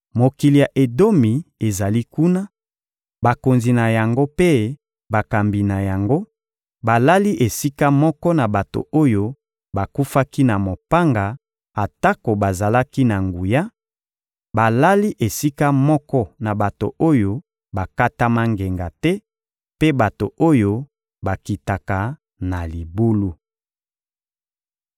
Mokili ya Edomi ezali kuna, bakonzi na yango mpe bakambi na yango balali esika moko na bato oyo bakufaki na mopanga atako bazalaki na nguya; balali esika moko na bato oyo bakatama ngenga te mpe bato oyo bakitaka na libulu.